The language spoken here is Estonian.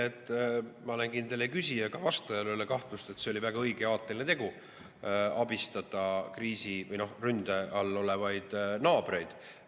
Ma olen kindel, et ei küsijal ega vastajal ei ole kahtlust, et oli väga õige ja aateline tegu abistada kriisis või ründe all olevaid naabreid.